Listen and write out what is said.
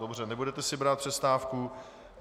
Dobře, nebudete si brát přestávku.